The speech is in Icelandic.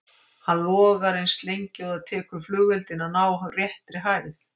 Hann logar eins lengi og það tekur flugeldinn að ná réttri hæð.